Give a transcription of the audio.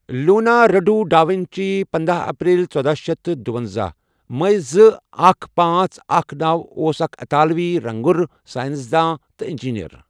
Leonardo da Vinci پندہ April ژٔداہ شیتھ تہٕ دُۄنزہ میے زٕ اکھَ پأنژھ اکھَ نوَ اوس اَکھ اِطٲلوی رَنٛگُر، ساینَسدان، تہٕ اِنجیٖنَر.